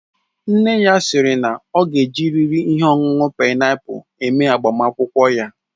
Nne ya siri na ọ ga ejiriri ihe ọṅụṅụ paịnapul eme agbamakwụkwọ ya